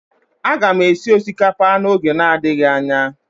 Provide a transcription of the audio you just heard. Aga m esi osikapa n'oge adịghị anya